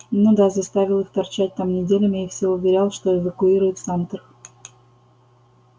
ну да заставил их торчать там неделями и всё уверял что эвакуирует самтер